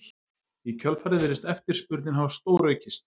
Í kjölfarið virðist eftirspurnin hafa stóraukist.